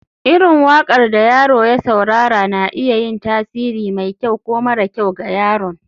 irin waƙar da yaro ya saurara na iya yin tasiri mai kyau ko mara kyau ga yaron